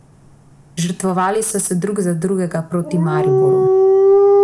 Žrtvovali so se drug za drugega proti Mariboru ...